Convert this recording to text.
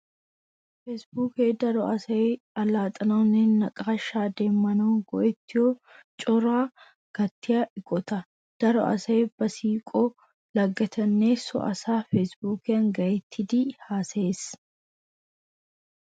Feesibuukee daro asay allaxxanawunne naqaashshaa demmanawu go'ettiyo coraa gattiya eqota. Daro asay ba siiqiyo laggettuuranne so asaara feesibuukiyan gayttidi haasayees.